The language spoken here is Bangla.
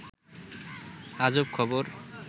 আজব খবর